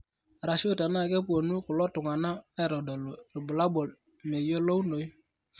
arashuu tenaa kepuonu kulo tung'anak aitodolu irbulabol meyiolounoyu.